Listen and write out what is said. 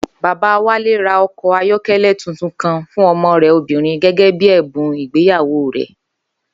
Bàbá Wálé ra o̩kò̩ ayó̩ké̩lé̩ tuntun kan fún o̩mo̩ rè̩ obìnrin gé̩gé̩ bí è̩bùn ìgbéyàwó rè̩